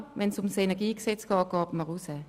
Wenn es um das KEnG geht, verlässt man ihn.